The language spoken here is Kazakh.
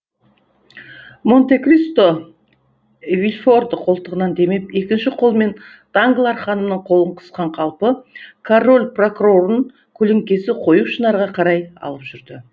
монте кристо вильфорды қолтығынан демеп екінші қолымен данглар ханымның қолын қысқан қалпы король прокурорын көлеңкесі қою шынарға қарай алып жүрді